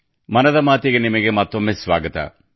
ಮನದ ಮಾತಿಗೆ ನಿಮಗೆ ಮತ್ತೊಮ್ಮೆ ಸ್ವಾಗತ